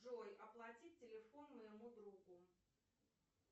джой оплатить телефон моему другу